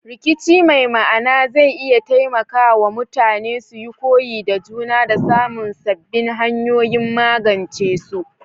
Rikici mai ma'ana zai iya taimaka wa mutane suyi koyi da juna da samun sabbin hanyoyin magance su.